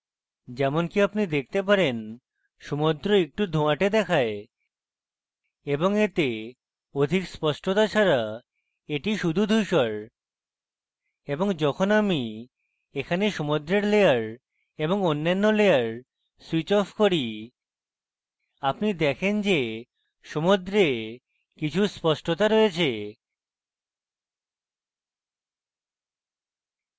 যেমনকি আপনি দেখতে পারেন সমুদ্র একটু ধোয়াটে দেখায় এবং এতে অধিক স্পষ্টতা ছাড়া এটি শুধু ধূসর এবং যখন আমি এখানে সমুদ্রের layer এবং অন্যান্য layer switch as করি আপনি দেখেন যে সমুদ্রে কিছু স্পষ্টতা রয়েছে